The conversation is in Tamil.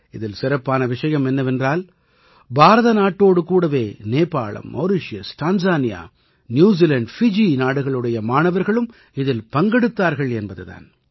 இதில் சிறப்பான விஷயம் என்னவென்றால் பாரத நாட்டோடு கூடவே நேபாளம் மௌரிஷியஸ் டான்ஸானியா ந்யூசீலாண்ட் ஃபீஜீ நாடுகளுடைய மாணவர்களும் இதில் பங்கெடுத்தார்கள் என்பது தான்